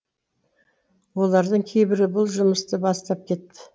олардың кейбірі бұл жұмысты бастап кетті